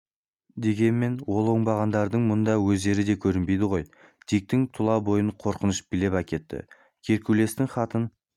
дегенмен ол оңбағандардың мұнда өздері де көрінбейді ғой диктің тұла бойын қорқыныш билеп әкетті геркулестің хатын